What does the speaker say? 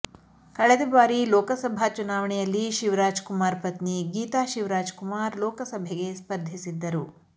ಕಳೆದ ಬಾರಿ ಲೋಕಸಭಾ ಚುನಾವಣೆಯಲ್ಲಿ ಶಿವರಾಜ್ ಕುಮಾರ್ ಪತ್ನಿ ಗೀತಾ ಶಿವರಾಜ್ ಕುಮಾರ್ ಲೋಕಸಭೆಗೆ ಸ್ಪರ್ಧಿಸಿದ್ದರು